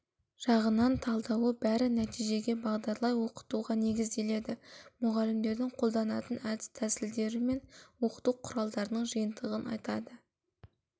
жағынан талдауы бәрі нәтижеге бағдарлай оқытуға негізделеді мұғалімдердің қолданатын әдіс тәсілдері мен оқыту құралдарының жиынтығын айтады